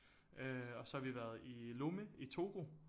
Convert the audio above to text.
Øh og så har vi været i Lomé i Togo